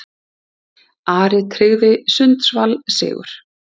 Ari tryggði Sundsvall sigur